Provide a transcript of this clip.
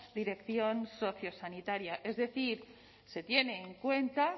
dirección sociosanitaria es decir se tiene en cuenta